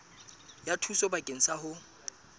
ya thuso bakeng sa ho